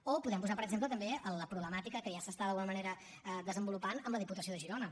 o podem posar per exemple també la problemàtica que ja s’està d’alguna manera desenvolupant amb la diputació de girona